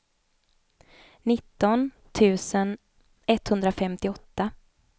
nitton tusen etthundrafemtioåtta